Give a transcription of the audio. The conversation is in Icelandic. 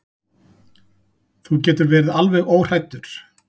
Þú getur verið alveg óhræddur.